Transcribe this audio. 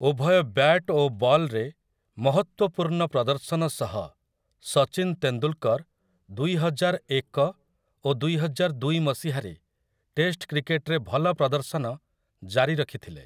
ଉଭୟ ବ୍ୟାଟ୍ ଓ ବଲ୍‌ରେ ମହତ୍ତ୍ୱପୂର୍ଣ୍ଣ ପ୍ରଦର୍ଶନ ସହ ସଚିନ୍ ତେନ୍ଦୁଲକର୍ ଦୁଇହଜାରଏକ ଓ ଦୁଇହଜାରଦୁଇ ମସିହାରେ ଟେଷ୍ଟ୍ କ୍ରିକେଟ୍‌ରେ ଭଲ ପ୍ରଦର୍ଶନ ଜାରି ରଖିଥିଲେ ।